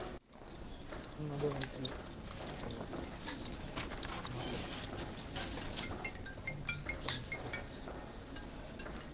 надо найти что то новое на тв помоги пожалуйста алиса